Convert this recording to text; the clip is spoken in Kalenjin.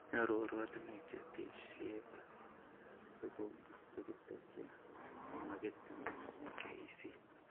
Nyoru oratinwek chetesyi tuguk chekitesyi chemagatin eng KEC